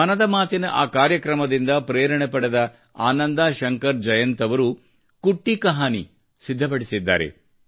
ಮನದ ಮಾತಿನ ಆ ಕಾರ್ಯಕ್ರಮದಿಂದ ಪ್ರೇರಣೆ ಪಡೆದ ಆನಂದಾ ಶಂಕರ್ ಜಯಂತ್ ಅವರು ಕುಟ್ಟಿ ಕಹಾನಿ ಸಿದ್ಧ ಪಡಿಸಿದ್ದಾರೆ